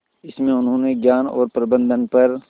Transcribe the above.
इसमें उन्होंने ज्ञान और प्रबंधन पर